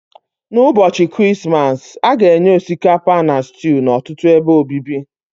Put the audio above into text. N'ụbọchị Krismas, a ga-enye osikapa na stew n'ọtụtụ ebe obibi